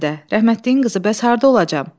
Həmidə, rəhmətliyin qızı, bəs harda olacam?